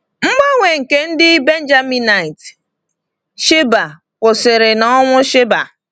Mgbanwe nke ndị Benjaminite Sheba kwụsịrị na ọnwụ Sheba.